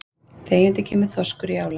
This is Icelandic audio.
Þegjandi kemur þorskur í ála.